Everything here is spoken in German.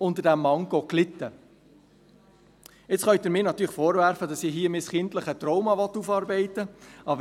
Nun können Sie mir natürlich vorwerfen, dass ich hier mein kindliches Trauma aufarbeiten will.